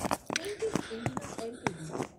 Venky's India LTD